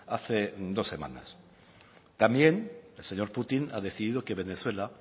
hace dos semanas también el señor putin ha decidido que venezuela